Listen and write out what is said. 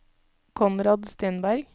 Konrad Stenberg